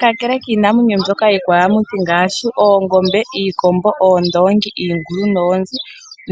Kakele kiinamwenyo mbyoka iikwayamuthi ngaashi oongombe, iikombo, oondongi, iingulu noonzi